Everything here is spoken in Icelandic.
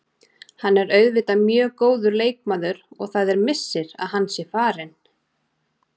Hann er auðvitað mjög góður leikmaður og það er missir að hann sé farinn.